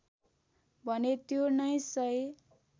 भने त्यो नै सही